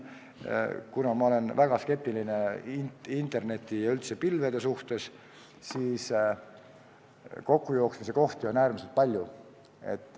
Ma olen väga skeptiline interneti ja üldse pilvede suhtes, kokkujooksmise kohti on äärmiselt palju.